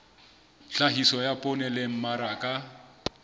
tlhahiso ya poone le mmaraka